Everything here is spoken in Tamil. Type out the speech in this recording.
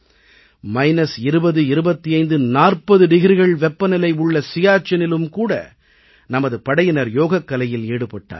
மைனஸ் 20 25 40 டிகிரிகள் வெப்பநிலை உள்ள சியாச்செனிலும் கூட நமது படையினர் யோகக் கலையில் ஈடுபட்டார்கள்